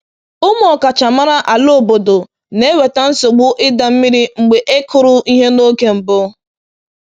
“Ụmụ ọkachamara ala obodo na-eweta nsogbu ịda mmiri mgbe e kụrụ ihe n’oge mbụ.”